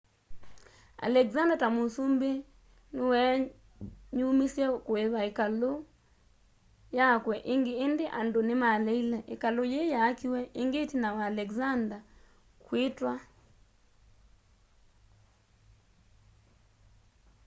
alexander ta musumbi ni weenyumisye kuipa ikalu yakwe ingi indi andu ni maleile ikalu yii yaakiwe ingi itina wa alexander kwitwa 323 bce